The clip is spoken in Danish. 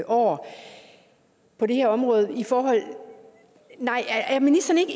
år på det her område er er ministeren ikke